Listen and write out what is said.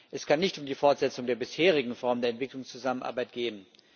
Es kann nicht um die Fortsetzung der bisherigen Formen der Entwicklungszusammenarbeit gehen.